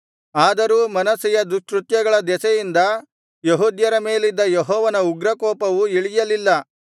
ಆದರೂ ಮನಸ್ಸೆಯ ದುಷ್ಕೃತ್ಯಗಳ ದೆಸೆಯಿಂದ ಯೆಹೂದ್ಯರ ಮೇಲಿದ್ದ ಯೆಹೋವನ ಉಗ್ರಕೋಪವು ಇಳಿಯಲಿಲ್ಲ